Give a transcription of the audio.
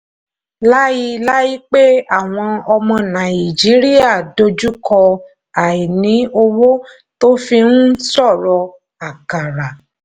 láiláípẹ́ àwọn ọmọ nàìjíríà dojú kọ àìní owó tó fi ń ṣòro àkàrà.